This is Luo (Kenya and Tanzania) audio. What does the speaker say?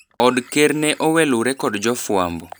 Od ker ne owelure kod jofwambo.